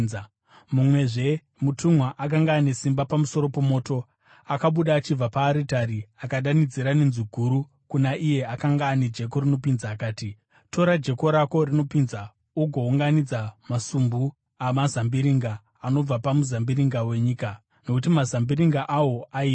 Mumwezve mutumwa, akanga ane simba pamusoro pomoto, akabuda achibva paaritari akadanidzira nenzwi guru kuna iye akanga ane jeko rinopinza akati, “Tora jeko rako rinopinza ugounganidza masumbu amazambiringa anobva pamuzambiringa wenyika, nokuti mazambiringa awo aibva.”